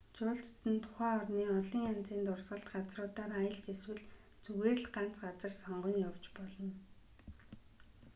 жуулчид нь тухайн орны олон янзын дурсгалт газруудаар аялж эсвэл зүгээр л ганц газар сонгон явж болно